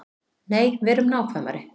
Nei, verum nákvæmari.